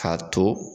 K'a to